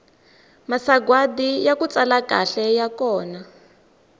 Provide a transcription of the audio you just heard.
masagwadi yaku tsala kahle ya kona